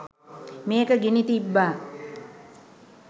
මේක ගිනි තිබ්බා.